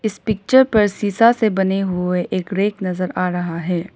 इस पिक्चर पर शीशा से बने हुए एक रैक नजर आ रहा है।